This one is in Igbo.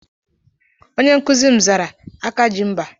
Onye nkụzi m zara "Aka ji mba"